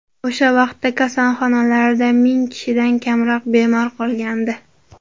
O‘sha vaqtda kasalxonalarda ming kishidan kamroq bemor qolgandi.